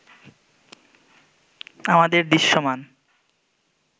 আমাদের দৃশ্যমান